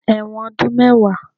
Ẹ̀wọ̀n ọdún mẹ́wàá